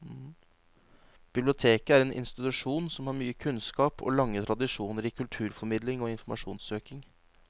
Biblioteket er en institusjon som har mye kunnskap og lange tradisjoner i kulturformidling og informasjonssøking.